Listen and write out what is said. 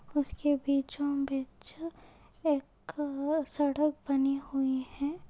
उसके बीचों बीच एक सड़क बनी हुई है।